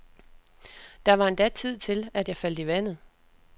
Der var endda tid til, at jeg faldt i vandet.